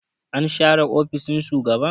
an share ofishin shugaban